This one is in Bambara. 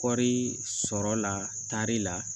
Kɔri sɔrɔ la taari la